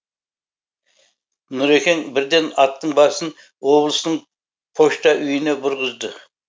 нұрекең бірден аттың басын облыстың пошта үйіне бұрғызды